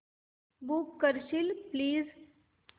book करशील please